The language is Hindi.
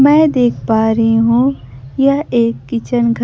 मैं देख पा रही हूं यह एक किचन घ--